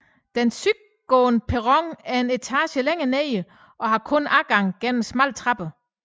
Den sydgående perron er en etage længere nede og har kun adgang gennem smalle trapper